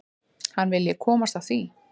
Hann vilji komast hjá því.